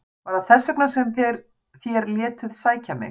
Var það þess vegna sem þér létuð sækja mig?